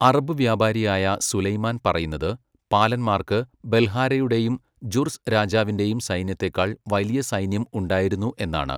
Arab വ്യാപാരിയായ Sulaiman പറയുന്നത്, പാലന്മാർക്ക് ബൽഹാരയുടെയും ജുർസ് രാജാവിന്റെയും സൈന്യത്തേക്കാൾ വലിയ സൈന്യം ഉണ്ടായിരുന്നു എന്നാണ്.